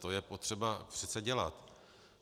To je potřeba přece dělat.